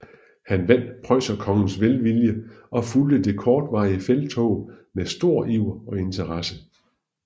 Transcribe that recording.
Han vandt preusserkongens velvilje og fulgte det kortvarige felttog med stor iver og interesse